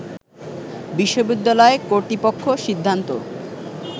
বিশ্ববিদ্যালয় কর্তৃপক্ষ সিদ্ধান্ত